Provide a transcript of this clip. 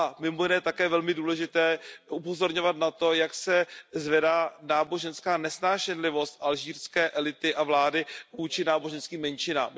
Bude také velmi důležité upozorňovat na to, jak se zvedá náboženská nesnášenlivost alžírské elity a vlády vůči náboženským menšinám.